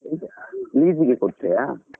Lease ಗೆ ಕೊಟ್ರೆಯಾ?